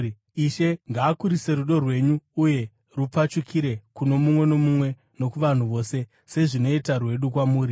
Ishe ngaakurise rudo rwenyu uye rupfachukire kuno mumwe nomumwe nokuvanhu vose, sezvinoita rwedu kwamuri.